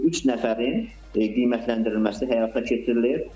Yəni bu üç nəfərin qiymətləndirilməsi həyata keçirilir.